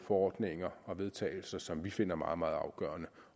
forordninger og vedtagelser som vi finder meget meget afgørende